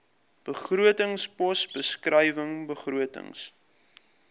begrotingspos beskrywing begrotings